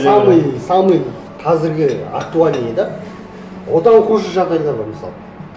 самый самый қазіргі актуальныйы да одан хуже жағдайлар бар мысалы